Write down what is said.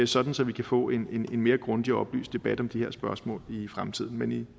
sådan så vi kan få en mere grundig og oplyst debat om de her spørgsmål i fremtiden men